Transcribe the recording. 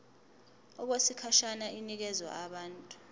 okwesikhashana inikezwa abantu